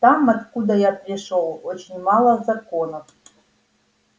там откуда я пришёл очень мало законов